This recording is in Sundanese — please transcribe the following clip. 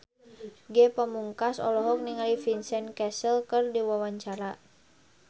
Ge Pamungkas olohok ningali Vincent Cassel keur diwawancara